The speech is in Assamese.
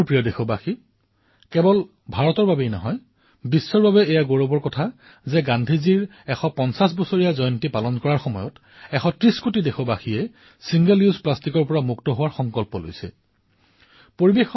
মোৰ মৰমৰ দেশবাসীসকল ভাৰতেই নহয় সমগ্ৰ বিশ্বৰ বাবে এয়া গৌৰৱৰ কথা যে আজি আমি গান্ধী ১৫০ পালন কৰাৰ মুহূৰ্তত ১৩০ কোটি দেশবাসীয়ে এবাৰ ব্যৱহৃত প্লাষ্টিকৰ পৰা মুক্ত হোৱাৰ সংকল্প গ্ৰহণ কৰিছে